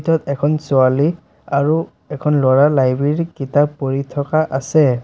য'ত এখন ছোৱালী আৰু এখন ল'ৰাৰ লাইব্ৰেৰী কিতাপ পঢ়ি থকা আছে।